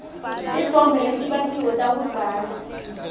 titfombe letibatiwe takudzala